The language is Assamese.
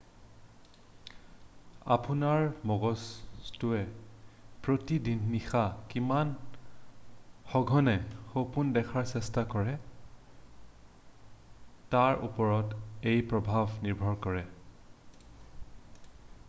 আপোনাৰ মগজুটোৱে প্ৰতি নিশা কিমান সঘনে সপোন দেখাৰ চেষ্টা কৰে তাৰ ওপৰত এই প্ৰভাৱ নিৰ্ভৰ কৰে